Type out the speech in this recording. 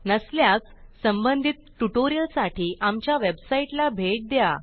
नसल्यास संबंधित ट्युटोरियलसाठी आमच्या वेबसाईटला भेट द्या